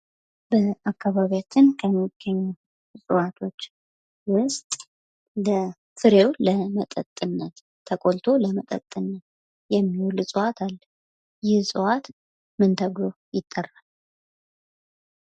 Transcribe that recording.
በአካባቢያችን ከሚገኙ እፅዋቶች ውስጥ ፍሬው ለመጠጥነት ተቆልቶ ለመጠጥነት የሚውል እፅዋት አለ። ይህ እጽዋት ምን ተብሎ ይጠራል ?